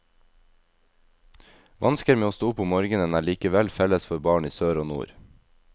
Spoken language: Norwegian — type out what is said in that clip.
Vansker med å stå opp om morgenen er likevel felles for barn i sør og nord.